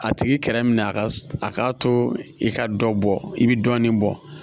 A tigi kɛrɛ min a ka a k'a to i ka dɔ bɔ i bɛ dɔɔnin bɔ